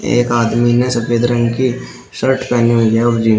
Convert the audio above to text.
एक आदमी ने सफेद रंग की शर्ट पेहनी हुई है और जीन्स ।